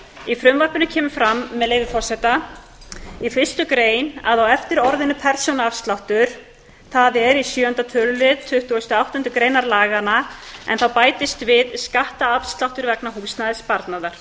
í frumvarpinu kemur fram með leyfi forseta fyrsta grein á eftir orðinu persónuafsláttur í sjöunda tölulið tuttugustu og áttundu greinar laganna kemur skattafsláttur vegna húsnæðissparnaðar